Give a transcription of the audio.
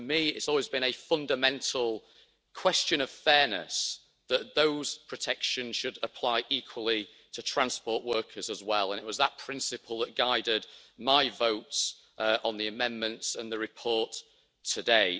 For me, it's always been a fundamental question of fairness that those protections should apply equally to transport workers as well, and it was that principle that guided my votes on the amendments and the report today.